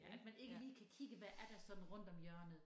Ja at man ikke lige kan kigge hvad er der sådan rundt om hjørnet